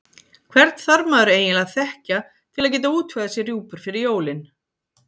Hvern þarf maður eiginlega að þekkja til að geta útvegað sér rjúpur fyrir jólin?